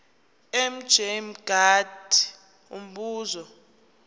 mj mngadi umbuzo